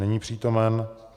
Není přítomen.